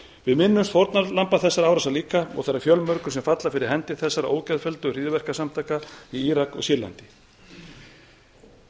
við minnumst fórnarlamba þessara árása líka og þeirra fjölmörgu sem falla fyrir hendi þessara ógeðfelldu hryðjuverkasamtaka í írak og sýrlandi